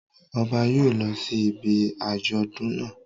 Ọba yóò lọ sí ibi àjọ̀dún naa